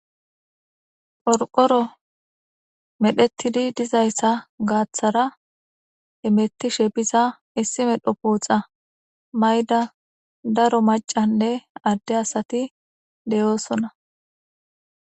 Qorqoro medhetidi dizayssa gaaththara heemettishe biza issi medho pooxa mayida daro macanne adde asati deyoosona.